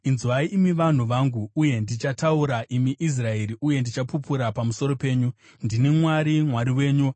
“Inzwai, imi vanhu vangu, uye ndichataura, imi Israeri, uye ndichapupura pamusoro penyu: Ndini Mwari, Mwari wenyu.